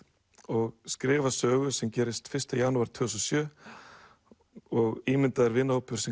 og skrifa sögu sem gerist fyrsta janúar tvö þúsund og sjö og ímyndaður vinahópur sem